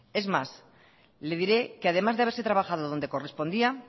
es más le diré que además de haberse trabajado donde correspondía